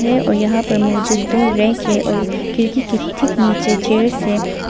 यहां पर मौजूद दो रैंक है और खिड़की के ठीक नीचे चेयर है।